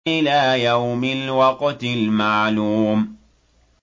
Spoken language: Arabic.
إِلَىٰ يَوْمِ الْوَقْتِ الْمَعْلُومِ